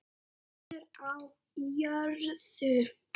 Friður á jörðu.